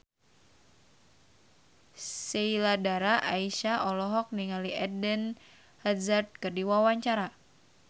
Sheila Dara Aisha olohok ningali Eden Hazard keur diwawancara